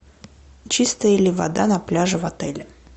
чистая ли вода на пляже в отеле